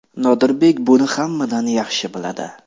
Nodirbek buni hammadan yaxshi biladi.